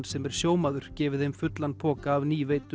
sem er sjómaður gefið þeim fullan poka af